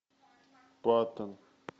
паттон